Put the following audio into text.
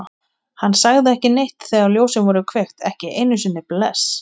Hann sagði ekki neitt þegar ljósin voru kveikt, ekki einu sinni bless.